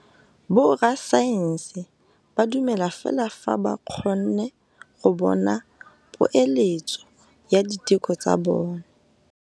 Borra saense ba dumela fela fa ba kgonne go bona poeletsô ya diteko tsa bone.